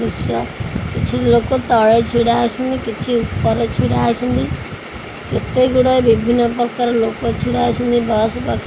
ଦୃଶ୍ୟ କିଛି ଲୋକ ତଳେ ଛିଡ଼ାହେଇସିନ୍ତି କିଛି ଉପରେ ଛିଡ଼ାହେଇସିନ୍ତି କେତେ ଗୁଡ଼ାଏ ବିଭିନ୍ନପ୍ରକାର ଲୋକ ଛିଡ଼ାହେଇସିନ୍ତି ବସ ପାଖେ